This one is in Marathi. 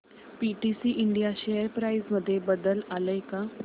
पीटीसी इंडिया शेअर प्राइस मध्ये बदल आलाय का